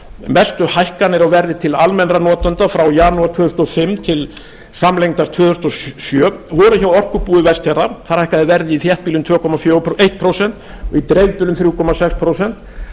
mestu hækkanir á verði til almennra notenda frá janúar tvö þúsund og fimm til samlengdar tvö þúsund og sjö voru hjá orkubúi vestfjarða þar hækkaði verð í þéttbýli um tvö komma eitt prósent og í dreifbýli um þrjú komma sex prósent